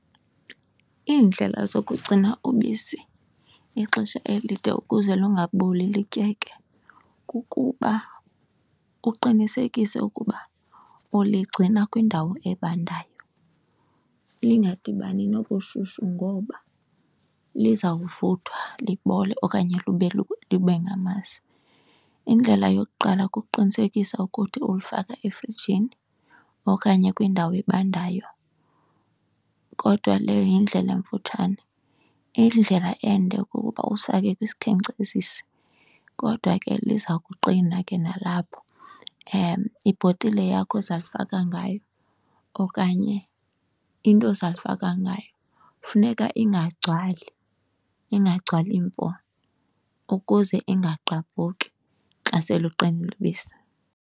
Iindlela zokugcina ubisi ixesha elide ukuze lungaboli lityeke kukuba uqinisekise ukuba uligcina kwindawo ebandayo lingadibani nobushushu ngoba lizawuvuthwa libole okanye libe ngamasi. Indlela yokuqala kukuqinisekisa ukuthi ulufaka efrijini okanye kwindawo ebandayo, kodwa leyo yindlela emfutshane. Indlela ende kukuba usifake kwisikhenkcezisi, kodwa ke liza kuqina ke nalapho. Ibhotile yakho ozalifaka ngayo okanye into ozalifaka ngayo funeka ingagcwali, ingagcwali mpo ukuze ingagqabhuki xa seluqinile ubisi.